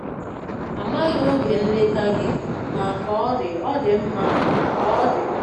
Amaghị oge nleta gị, ma ka ọ dị, ọ dị mma ka ọ dị.